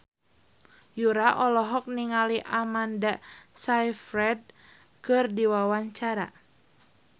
Yura olohok ningali Amanda Sayfried keur diwawancara